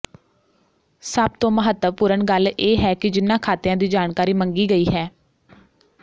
ਸਭ ਤੋਂ ਮਹਤੱਵਪੂਰਨ ਗੱਲ ਇਹ ਹੈ ਕਿ ਜਿਨ੍ਹਾਂ ਖ਼ਾਤਿਆਂ ਦੀ ਜਾਣਕਾਰੀ ਮੰਗੀ ਗਈ ਹੈ